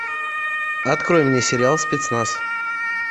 открой мне сериал спецназ